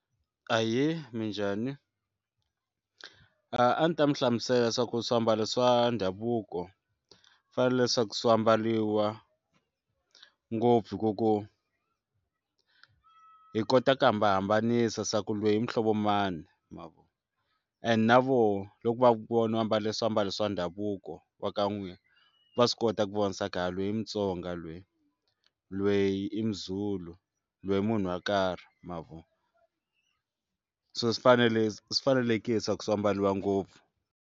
Ahee, minjhani? a ndzi ta mi hlamusela swa ku swiambalo swa ndhavuko fanele leswaku swi ambariwa ngopfu hi ku ku hi kota ku hambanahambanisa swa ku loyi i muhlovo mani ma vo and na voho loko va ku vona u ambale swiambalo swa ndhavuko wa ka n'wina va swi kota ku vona swa ku loyi i mutsonga lweyi lweyi i muzulu loyi i munhu wo karhi ma vo so swi fanele swi fanelekile swa ku swi ambariwa ngopfu.